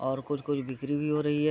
और कुछ-कुछ बिक्री भी हो रही है।